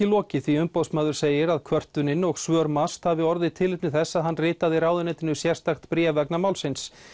lokið því Umboðsmaður segir að kvörtunin og svör MAST hafi orðið tilefni þess að hann ritaði ráðuneytinu sérstakt bréf vegna málsins